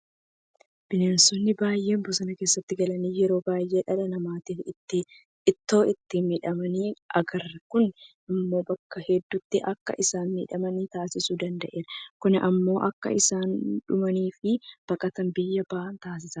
Bineensonni baay'een bosona keessatti galan yeroo baay'ee dhala namaatiin itoo isaan miidhamanii agarra. Kun immoo bakka hedduutti akka isaan miidhaman taasisuu danda'eera. Kun immoo akka isaan dhumaniifi baqatanii biyyaa bahan taasisaa jira.